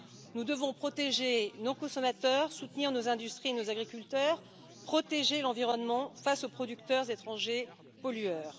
Nous devons protéger nos consommateurs, soutenir nos industries, nos agriculteurs, protéger l'environnement face aux producteurs étrangers pollueurs.